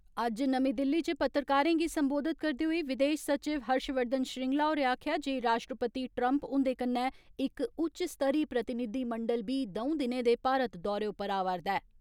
अज्ज नमीं दिल्ली च पत्रकारें गी सम्बोधित करदे होई विदेश सचिव हर्ष वर्धन श्रींगला होरें आक्खेआ जे राश्ट्रपति ट्रम्प हुन्दे कन्नै इक उच्च स्तरी प्रतिनिधिमंडल बी दौंऊ दिनें दे भारत दौरे उप्पर आवा रदा ऐ।